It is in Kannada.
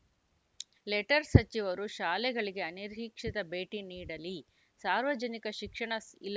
ಲೆಟರ್‌ ಸಚಿವರು ಶಾಲೆಗಳಿಗೆ ಅನಿರೀಕ್ಷಿತ ಭೇಟಿ ನೀಡಲಿ ಸಾರ್ವಜನಿಕ ಶಿಕ್ಷಣ ಇಲಾ